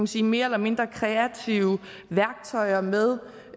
sige mere eller mindre kreative værktøjer med